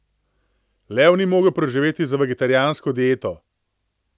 Lev ne bi mogel preživeti z vegetarijansko dieto.